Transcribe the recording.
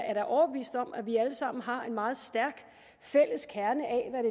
er da overbevist om at vi alle sammen har en meget stærk fælles kerne